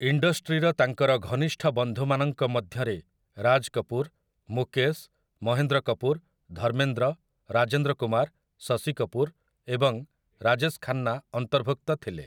ଇଣ୍ଡଷ୍ଟ୍ରିର ତାଙ୍କର ଘନିଷ୍ଠ ବନ୍ଧୁମାନଙ୍କ ମଧ୍ୟରେ ରାଜ୍ କପୁର୍, ମୁକେଶ୍, ମହେନ୍ଦ୍ର କପୁର୍, ଧର୍ମେନ୍ଦ୍ର, ରାଜେନ୍ଦ୍ର କୁମାର୍, ଶଶି କପୁର୍ ଏବଂ ରାଜେଶ୍ ଖାନ୍ନା ଅନ୍ତର୍ଭୁକ୍ତ ଥିଲେ ।